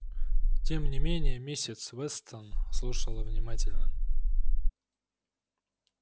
тем не менее миссис вестон слушала внимательно